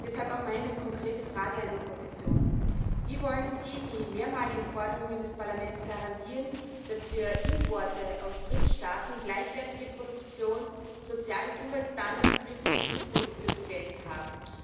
Deshalb auch meine konkrete Frage an die Kommission Wie wollen Sie den mehrmaligen Forderungen des Parlaments nachkommen und garantieren, dass für Importe aus Drittstaaten gleichwertige Produktions Sozial und Umweltstandards wie für die EU Produkte zu gelten haben?